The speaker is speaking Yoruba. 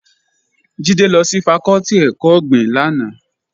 Jídé lọ sí fakọ́tì ẹ̀kọ́ ọ̀gbìn lánàá